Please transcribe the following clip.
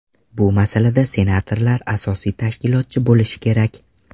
Bu masalada senatorlar asosiy tashkilotchi bo‘lishi kerak.